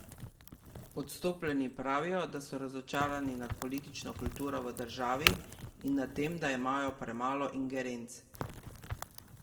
Odstopljeni pravijo, da so razočarani nad politično kulturo v državi in nad tem, da imajo premalo ingerenc.